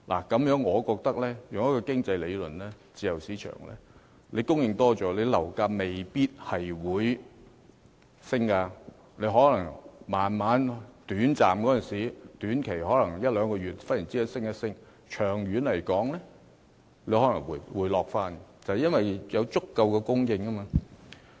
根據經濟理論，自由市場的供應增加，樓價未必會上升，短期的一兩個月內可能忽然上升，長遠而言則可能回落，因為市場有足夠的供應。